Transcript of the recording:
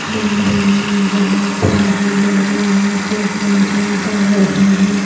मंदिर में बहुत सारे लोग यहां पे पूजा कर रहे हैं।